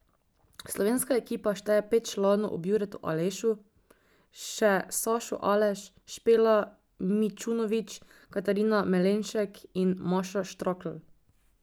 Slovenska ekipa šteje pet članov ob Juretu Alešu, še Sašo Aleš, Špela Mičunovič, Katarina Malenšek in Maša Štrakl.